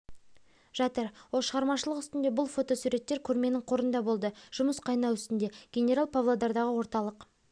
жатыр ол шығармашылық үстінде бұл фотосуреттер көрменің қорында болды жұмыс қайнау үстінде генерал павлодардағы орталық